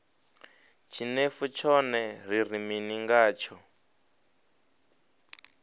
tshinefu tshone ri ri mini ngatsho